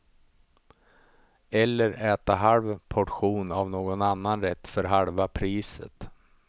Eller äta halv portion av någon annan rätt för halva priset.